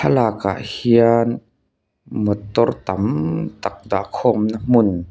hian motor tam tak dah khawmna hmun--